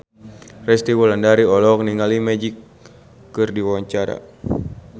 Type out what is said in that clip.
Resty Wulandari olohok ningali Magic keur diwawancara